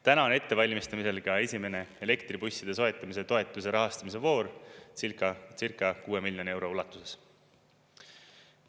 " Täna on ettevalmistamisel ka esimene elektribusside soetamise toetuse rahastamise voor circa 6 miljoni euro ulatuses.